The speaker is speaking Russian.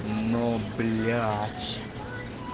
ну блять